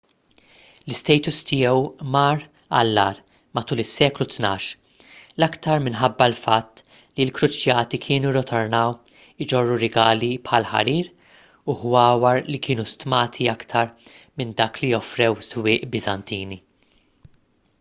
l-istatus tiegħu mar għall-agħar matul is-seklu tnax l-aktar minħabba l-fatt li l-kruċjati kienu rritornaw iġorru rigali bħal ħarir u ħwawar li kienu stmati aktar minn dak li offrew is-swieq biżantini